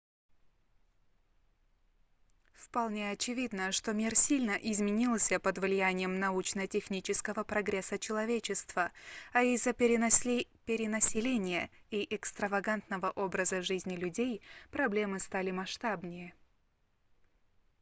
вполне очевидно что мир сильно изменился под влиянием научно-технического прогресса человечества а из-за перенаселения и экстравагантного образа жизни людей проблемы стали масштабнее